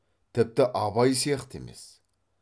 тіпті абай сияқты емес